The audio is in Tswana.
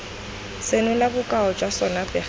senola bokao jwa sona pegelo